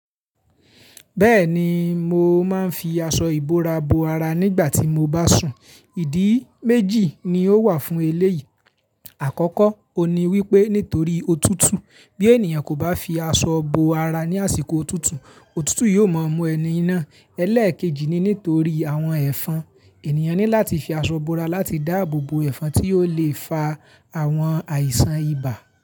Bẹ́ẹ̀ni mo máa ń fi aṣọ ìbora bo ara nígbà tí mo bá sùn. Ìdí méjì ni ó wà fún eléyìí. Àkọ́kọ́, o ní wípé nítorí òtútù bí ènìyàn kò bá fi aṣọ bo ara ní àsìkò òtútù, òtútù yóò máa mú ẹni náa. Ẹ̀lẹ́ẹ̀kejì ni nítorí àwọn ẹ̀fọn. Ènìyàn ní láti fi aṣọ bora láti dáàbò bo ẹ̀fọn tí yóò le fa àwọn àìsàn ibà.